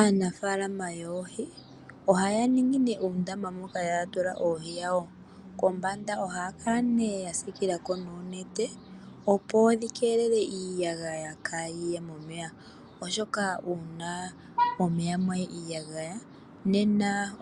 Aanafalama yoohi ohaya ningi uundama moka haya tula oohi kombanda ohaya tulako onete, opo dhi keelele iiyagayà ka yiye momeya oshoka ngele mwayi iiyagaya